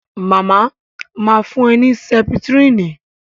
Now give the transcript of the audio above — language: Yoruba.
Màmá ma fún ẹ ní Sẹ́pítírínì